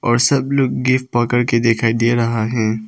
और सब लोग गिफ्ट पकड़ के दिखाई दे रहा है।